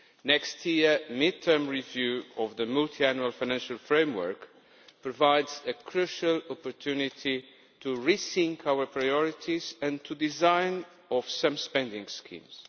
Next year's mid term review of the Multiannual Financial Framework provides a crucial opportunity to rethink our priorities and the design of some spending schemes.